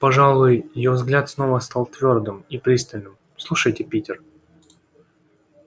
пожалуй её взгляд снова стал твёрдым и пристальным слушайте питер